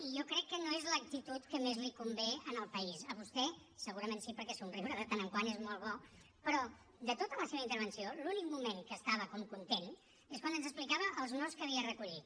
i jo crec que no és l’actitud que més li convé en el país a vostè segurament sí perquè somriure de tant en tant és molt bo però de tota la seva intervenció l’únic moment que estava com content és quan ens explicava els nos que havia recollit